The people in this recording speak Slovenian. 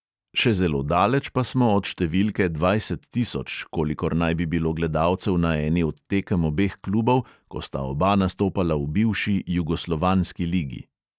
Še zelo daleč pa smo od številke dvajset tisoč, kolikor naj bi bilo gledalcev na eni od tekem obeh klubov, ko sta oba nastopala v bivši jugoslovanski ligi.